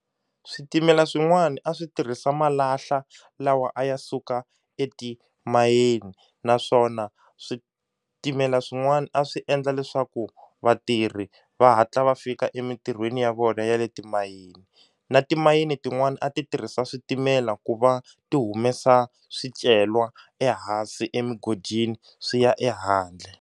Switimela swin'wana a swi tirhisa malahla lawa a ya suka etimayini naswona switimela swin'wana a swi endla leswaku vatirhi va hatla va fika emintirhweni ya vona ya le timayini, na timayini tin'wani a ti tirhisa switimela ku va ti humesa swicelwa ehansi emugodini swi ya ehandle.